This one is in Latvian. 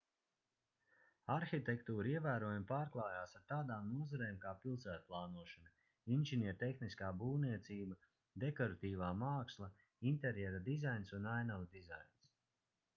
arhitektūra ievērojami pārklājās ar tādām nozarēm kā pilsētplānošana inženiertehniskā būvniecība dekoratīvā māksla interjera dizains un ainavu dizains